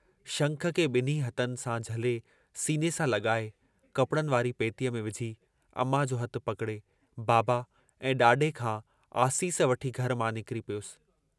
शंख खे ॿिन्ही हथनि सां झले सीने सां लॻाए, कपिड़नि वारी पेतीअ में विझी, अमां जो हथु पकिड़े, बाबा ऐं ॾाॾे खां आसीस वठी घर मां निकिरी पियुसि।